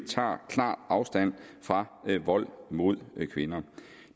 klar afstand fra vold mod kvinder